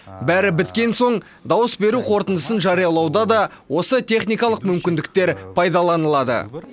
бәрі біткен соң дауыс беру қорытындысын жариялауда да осы техникалық мүмкіндіктер пайдаланылады